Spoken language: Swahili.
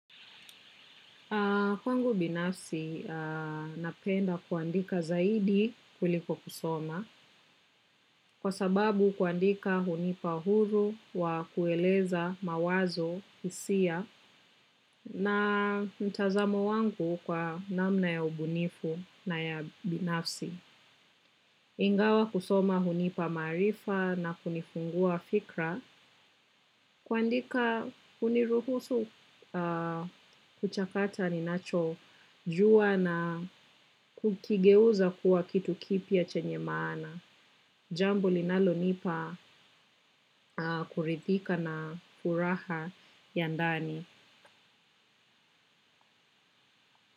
Kwangu binafsi napenda kuandika zaidi kuliko kusoma kwa sababu kuandika hunipa huru wa kueleza mawazo hisia na mtazamo wangu kwa namna ya ubunifu na ya binafsi. Ingawa kusoma hunipa maarifa na kunifungua fikra kuandika huniruhusu kuchakata ninachojua na kukigeuza kuwa kitu kipya chenye maana. Jambo linalonipa kuridhika na furaha ya ndani.